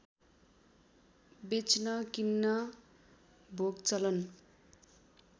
बेच्न किन्न भोगचलन